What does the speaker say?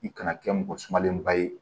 I kana kɛ mɔgɔ sumalenba ye